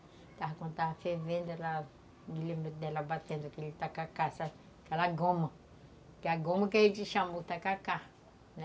Quando estava fervendo, eu me lembro dela batendo aquele tacacá, aquela goma, aquela goma que a gente chamou tacacá, né?